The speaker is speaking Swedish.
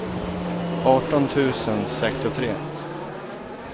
arton tusen sextiotre